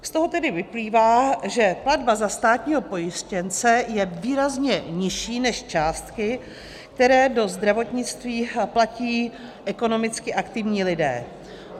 Z toho tedy vyplývá, že platba za státního pojištěnce je výrazně nižší než částky, které do zdravotnictví platí ekonomicky aktivní lidé.